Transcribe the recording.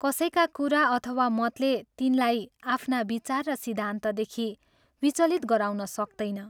कसैका कुरा अथवा मतले तिनलाई आफ्ना विचार र सिद्धान्तदेखि विचलित गराउन सक्तैन।